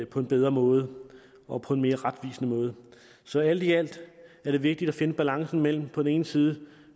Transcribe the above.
på en bedre måde og på en mere retvisende måde så alt i alt er det vigtigt at finde balancen mellem på den ene side